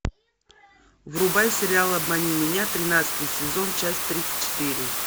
врубай сериал обмани меня тринадцатый сезон часть тридцать четыре